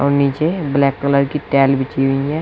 नीचे black colour की tile बिछी हुई है।